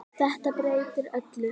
Þetta breytir öllu.